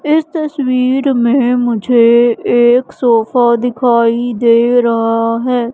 इस तस्वीर में मुझे एक सोफा दिखाई दे रहा है।